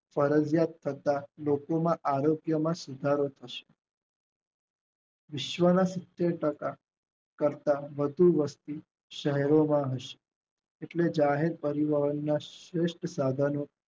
ફરજીયાત થતા લોકોમાં આવે તેમાં સુધારો થશે વિશ્વના સીતેર ટાકા કરતા વધુ વસ્તી શહેરોમાં હોય છે. એટલે જયારે પરિવારોમાં શ્રેસ્ટ સાધનો